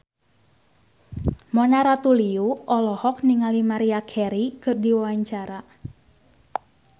Mona Ratuliu olohok ningali Maria Carey keur diwawancara